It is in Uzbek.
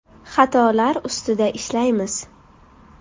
Xatolar ustida ishlaymiz.